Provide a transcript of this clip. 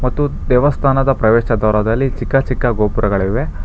ಮತ್ತು ದೇವಸ್ಥಾನದ ಪ್ರವೇಶ ದ್ವಾರದಲ್ಲಿ ಚಿಕ್ಕ ಚಿಕ್ಕ ಗೋಪುರಗಳಿವೆ.